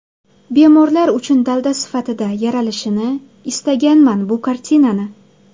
Bemorlar uchun dalda sifatida yaralishini istaganman bu kartinani.